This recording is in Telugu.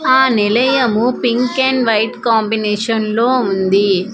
ఆ నిలయము పింక్ అండ్ వైట్ కాంబినేషన్లో ఉంది.